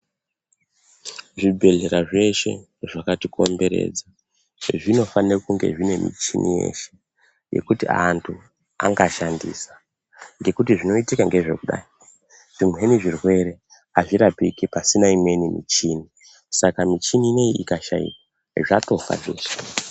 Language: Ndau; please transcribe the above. Zvibhedhlera zveshe zvakatikomberedza, zvezvinofane kunge zvine michini yeshe, yekuti antu angashandisa, ngekuti zvinoitika ngezvekudai zvimweni zvirwere azvirapiki pasina imweni michini. Saka michini ineyi ikashaika, zvatofa zveshe.